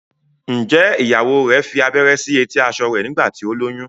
njé ìyàwó rẹ fí abẹrẹ sí eti aṣọ rẹ nígbà tí o lóyún?